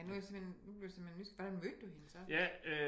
Ej nu er jeg simpelthen nu blev jeg simpelthen nysgerrig hvordan mødte du hende så?